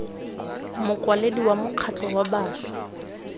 mokwaledi wa mokgatlho wa bašwa